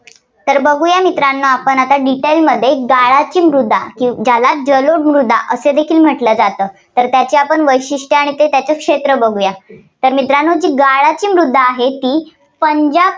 तर बघुया मित्रांनो आपण आता Detail मध्ये गाळाची मृदा. ज्याला जलोद मृदा असे देखील म्हटलं जाते. तर त्याची आपण वैशिष्ट्यं आणि क्षेत्र बघुया. तर मित्रांनो गाळाची मृदा आहे, ती पंजाब